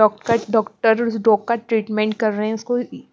Dog का doctor उस dog का ट्रीटमेंट कर रहे हैं।